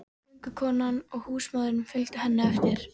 Göngukonan og húsmóðirin fylgdu henni eftir.